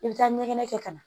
I bɛ taa ɲɛgɛnɛ kɛ ka na